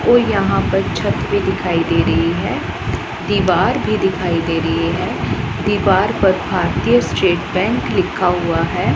और यहां पर छत भी दिखाई दे रही है दीवार भी दिखाई दे रही है दीवार पर भारतीय स्टेट बैंक लिखा हुआ है।